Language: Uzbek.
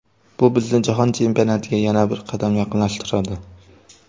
Bu bizni jahon chempionatiga yana bir qadam yaqinlashtiradi.